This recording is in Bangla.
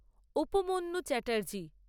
উপমন্যু চ্যাটার্জী